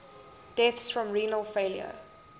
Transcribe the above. deaths from renal failure